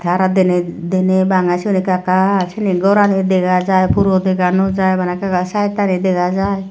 aro deney deney bangey siyot ekka ekka seyani gorani dega jai puro dega no jai bana ekka ekka saittani dega jai.